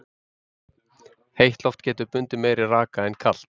heitt loft getur bundið meiri raka en kalt